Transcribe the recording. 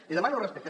li demano respecte